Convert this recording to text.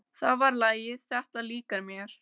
Það var lagið. þetta líkar mér!